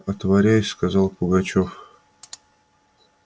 отворяй сказал пугачёв